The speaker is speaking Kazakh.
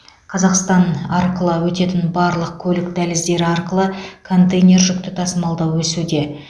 қазақстан арқылы өтетін барлық көлік дәліздері арқылы контейнер жүкті тасымалдау өсуде